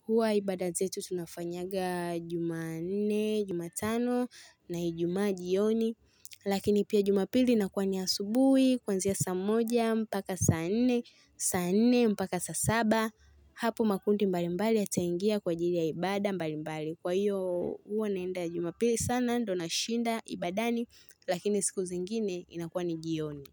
huwa ibada zetu tunafanyaga Jumanne, jumatano na Ijumaa jioni. Lakini pia jumapili inakuwa ni asubuhi, kuanzia saa moja, mpaka saa nne, saa nne, mpaka saa saba. Hapo makundi mbalimbali yataingia kwa ajili ya ibada mbalimbali. Kwa hiyo huwa naenda jumapili sana ndio nashinda ibadani lakini siku zingine inakuwa ni jioni.